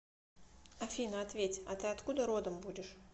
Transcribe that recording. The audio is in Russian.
афина ответь а ты откуда родом будешь